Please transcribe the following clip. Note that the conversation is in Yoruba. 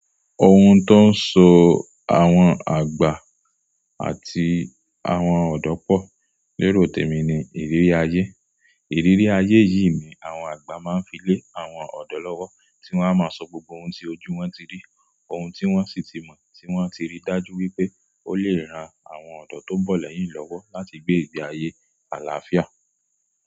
Ohun tó ń so àwọn àgbà àti àwọn ọ̀dọ́ pọ̀ lérò tèmi ní ìrírí ayé. Ìrírí ayé yìí ni àwọn àgbà máa ń fi lé àwọn ọ̀dọ́ lọ́wọ́ tí wọ́n a máa sọ gbogbo ohun tí ojú wọn ti rí, ohun tí wọ́n sì ti mọ̀, tí wọ́n ti rí dájú wípé ó lè ran àwọn ọ̀dọ́ tó ń bọ̀ lẹ́yìn lọ́wọ́ láti gbé ìgbé ayé àlàáfíà.